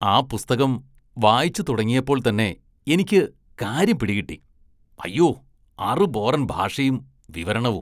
ആ പുസ്തകം വായിച്ചു തുടങ്ങിയപ്പോള്‍ തന്നെ എനിക്ക് കാര്യം പിടികിട്ടി, അയ്യോ, അറുബോറന്‍ ഭാഷയും വിവരണവും